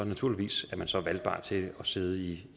naturligvis valgbar til at sidde i